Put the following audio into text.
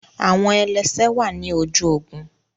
Awọn ẹlẹsẹ wà ni ojú ogún